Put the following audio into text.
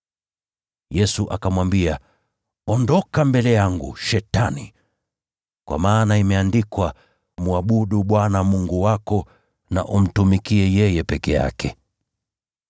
Yesu akamwambia, “Ondoka mbele yangu, Shetani! Kwa maana imeandikwa, ‘Mwabudu Bwana Mungu wako, na umtumikie yeye peke yake.’ ”